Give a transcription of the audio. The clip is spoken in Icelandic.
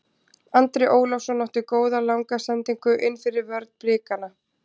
Andri Ólafsson átti góða langa sendingu innfyrir vörn Blikana.